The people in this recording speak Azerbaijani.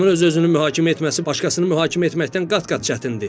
Adamın öz-özünü mühakimə etməsi başqasını mühakimə etməkdən qat-qat çətindir.